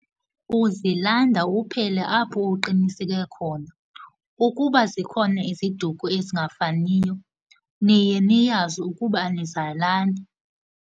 Uzilanda uphele apho uqiniseke khona. Ukuba zikhona iziduko ezingafaniyo niye niyazi ukuba anizalani.